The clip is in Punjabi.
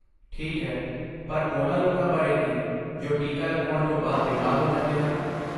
ਠੀਕ ਹੈ, ਪਰ ਉਨ੍ਹਾਂ ਲੋਕਾਂ ਬਾਰੇ ਕੀ ਜੋ ਟੀਕਾ ਲਗਵਾਉਣ ਤੋਂ ਬਾਅਦ ਬਿਮਾਰ ਹੋ ਜਾਂਦੇ ਹਨ?